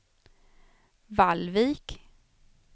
Vallvik